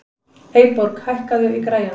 Eyborg, hækkaðu í græjunum.